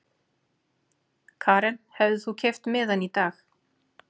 Karen: Hefðir þú keypt miðann í dag?